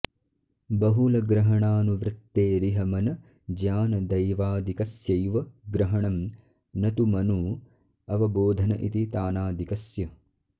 बहुलग्रहणानुवृत्तेरिह मन ज्ञान दैवादिकस्यैव ग्रहणं न तु मनु अवबोधन इति तानादिकस्य